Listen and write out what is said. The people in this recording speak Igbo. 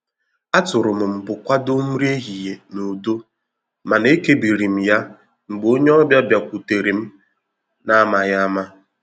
A tụrụ m mbụ kwado nri ehihie n'udo mana eke biri m ya mgbe ònye obia bịakwutere m na amaghị ama.